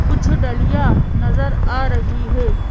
कुछ डलिया नजर आ रही है।